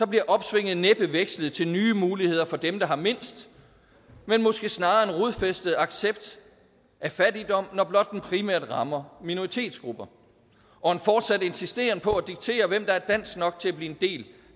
bliver opsvinget næppe vekslet til nye muligheder for dem der har mindst men måske snarere en rodfæstet accept af fattigdom når blot den primært rammer minoritetsgrupper og en fortsat insisteren på at diktere hvem der er dansk nok til at blive en del